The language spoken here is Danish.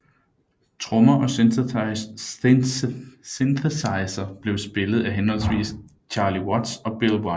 Trommer og synthesizer blev spillet af henholdsvis Charlie Watts og Bill Wyman